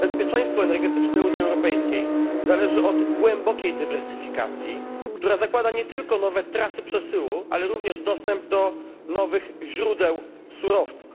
Bezpieczeństwo energetyczne Unii Europejskiej zależy od głębokiej dywersyfikacji, która zakłada nie tylko nowe trasy przesyłu, ale również dostęp do nowych źródeł surowców.